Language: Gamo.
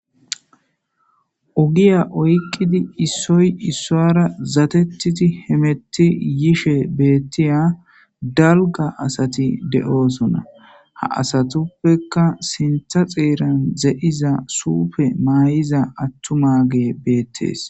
Ogiya oyqidi isoy isuwara zatetidi hameti yishe betiya dalga asati de'osona ha asatupeka sinta xeran de'iza sufe ma'iza atumage betes.